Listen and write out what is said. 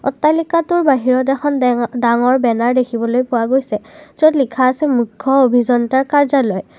অট্টালিকাটোৰ বাহিৰত এখন ডে ডাঙৰ বেনাৰ দেখিবলৈ পোৱা গৈছে য'ত লিখা আছে মুখ্য অভিযন্তাৰ কাৰ্য্যালয়।